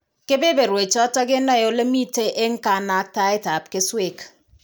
Kebeberwechatan kenaen ole miten en kanaktaet ab keswek